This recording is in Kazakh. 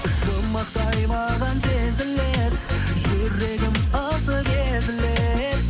жұмбақтай маған сезіледі жүрегім ысып езіледі